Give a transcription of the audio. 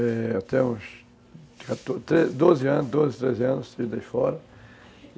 Eu tenho uns doze, treze anos, fora.